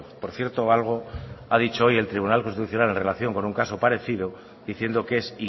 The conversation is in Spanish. por cierto algo ha dicho hoy el tribunal constitucional en relación con un caso parecido diciendo que es